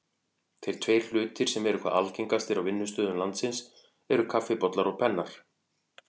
Þeir tveir hlutir sem eru hvað algengastir á vinnustöðum landsins eru kaffibollar og pennar.